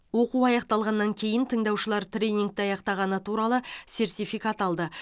оқу аяқталғаннан кейін тыңдаушылар тренингті аяқтағаны туралы сертификат алды